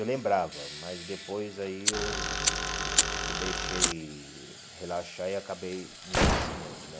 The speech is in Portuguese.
Eu lembrava, mas depois aí eu eu deixei relaxar e acabei no esquecimento, né?